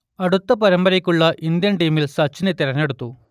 അടുത്ത പരമ്പരക്കുള്ള ഇന്ത്യൻ ടീമിൽ സച്ചിനെ തിരഞ്ഞെടുത്തു